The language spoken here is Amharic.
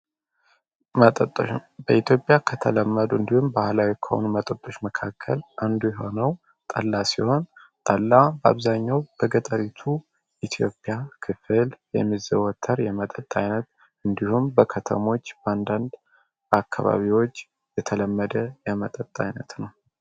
በኢትዮጵያ ከተለመዱ እንዲሁም ባህላዊ ኮውን መጠጦች መካከል አንዱ የሆነው ጠላ ሲሆን ጠላ በአብዛኛው በገጠሪቱ ኢትዮጵያ ክፍል የሚዘወተር የመጠት ዓይነት እንዲሁም በከተሞች በንዳንድ አካባቢዎች የተለመደ የመጠጥ ዓይነት ነው።